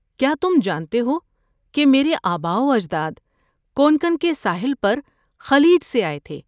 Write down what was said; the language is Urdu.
کیا تم جانتے ہو کہ میرے آباؤ اجداد کونکن کے ساحل پر خلیج سے آئے تھے؟